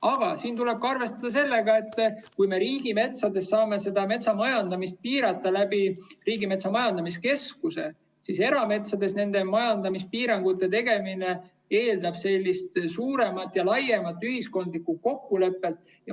Aga tuleb arvestada, et kui me riigimetsas saame metsamajandamist piirata Riigimetsa Majandamise Keskuse kaudu, siis erametsas nende majandamispiirangute tegemine eeldab suuremat ja laiemat ühiskondlikku kokkulepet.